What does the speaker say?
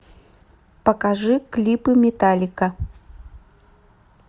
покажи клипы металлика